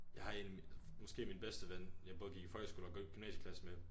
Jeg har en måske min bedste ven jeg både gik i folkeskole og gik i gymnasieklasse med